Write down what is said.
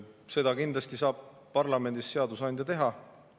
Seda kindlasti saab parlamendis seadusandja teha.